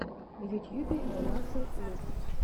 в ютьюбе элмаксэл лук